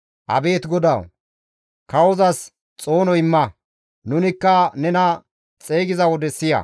Abeet GODAWU! Kawozas xoono imma; nunikka nena xeygiza wode siya.